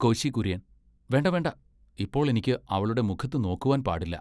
കോശി കുര്യൻ . വേണ്ടാവേണ്ട, ഇപ്പോൾ എനിക്ക് അവളുടെ മുഖത്ത് നോക്കുവാൻ പാടില്ല.